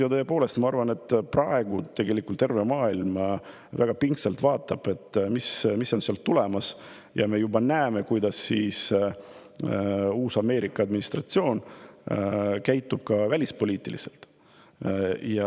Ja tõepoolest, ma arvan, et praegu tegelikult terve maailm väga pingsalt vaatab, mis sealt tulemas on, ja me juba näeme, kuidas uus Ameerika administratsioon välispoliitiliselt käitub.